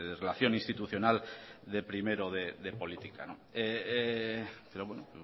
relación institucional de primero de política pero bueno